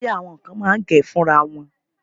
Bóyá, àwọn kan máa ń gẹ̀ ẹ́ fúnra wọn.